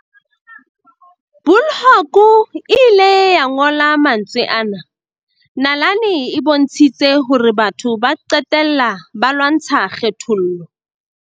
Bulhoeko ile a ngola mantswe ana, "Nalane e bontshitse horebatho ba qe tella ba lwantsha kgethollo."